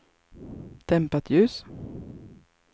dämpat ljus